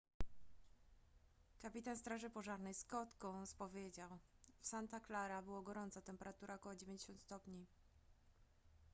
kapitan straży pożarnej scott kouns powiedział w santa clara było gorąco temperatura około 90 stopni